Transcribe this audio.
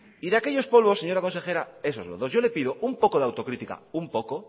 y de aquellos polvos señora consejera esos lodos yo le pido un poco de autocrítica un poco